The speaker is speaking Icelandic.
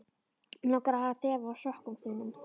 Mig langar að þefa af sokkum þínum.